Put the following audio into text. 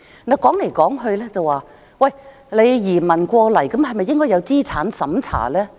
說來說去，來港的移民是否應該經過資產審查？